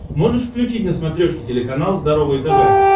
можешь включить на смотрешке телеканал здоровое тв